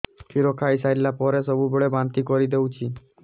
କ୍ଷୀର ଖାଇସାରିଲା ପରେ ସବୁବେଳେ ବାନ୍ତି କରିଦେଉଛି